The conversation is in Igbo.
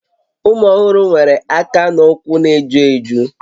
Ụmụ ọhụrụ nwere aka na ụkwụ na-eju eju